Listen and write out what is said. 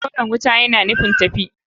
Koren wuta yana nufin tafi.